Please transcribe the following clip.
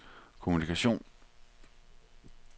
kommunikation